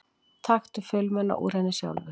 Taktu filmuna úr henni sjálfur!